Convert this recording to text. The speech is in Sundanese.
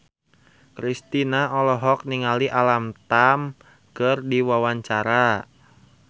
Kristina olohok ningali Alam Tam keur diwawancara